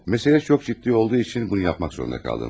Məsələ çox ciddi olduğu üçün bunu yapmaq zorunda qaldım.